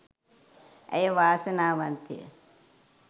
ඇය වාසනාවන්තය